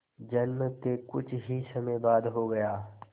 जन्म के कुछ ही समय बाद हो गया